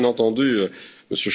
J'ai bien entendu M.